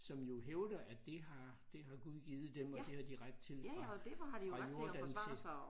Som jo hævder at det har det har gud givet dem og det har de ret til fra fra Jordan til